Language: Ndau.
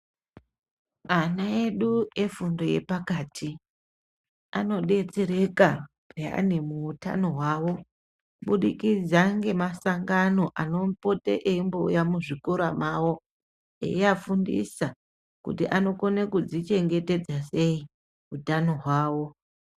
Ana edu efundo yepakati anodetsereka piyani muhutano mawo kubudikidza nemasangano anopota eiuya muzvikora mawo Eivafundisa kuti vanokona kuzvichengetedza sei hutano hwavo.